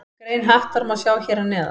Grein Hattar má sjá hér að neðan.